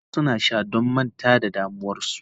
Wasu suna sha don manta da damuwarsu.